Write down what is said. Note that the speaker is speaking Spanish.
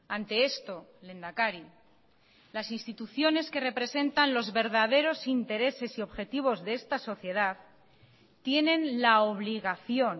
ante esto lehendakari las instituciones que representan los verdaderos intereses y objetivos de esta sociedad tienen la obligación